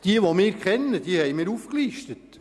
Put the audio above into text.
Diejenige, die wir kennen, haben wir aufgelistet.